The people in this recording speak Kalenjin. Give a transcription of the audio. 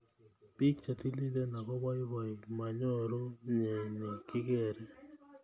Bik chetililen akoboiboi manyoru mnyeni kikere.